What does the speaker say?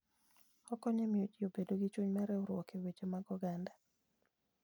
Okonyo e miyo ji obed gi chuny mar riwruok e weche mag oganda.